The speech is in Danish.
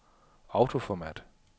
autoformat